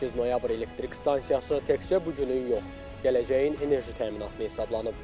8 noyabr elektrik stansiyası təkcə bu günün yox, gələcəyin enerji təminatı hesablanıb.